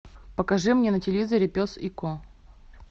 покажи мне на телевизоре пес и ко